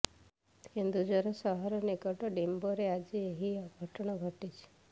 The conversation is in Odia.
କେନ୍ଦୁଝର ସହର ନିକଟ ଡିମ୍ବୋରେ ଆଜି ଏହି ଅଘଟଣ ଘଟିଛି